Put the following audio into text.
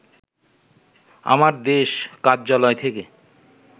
আমার দেশ কার্যালয় থেকে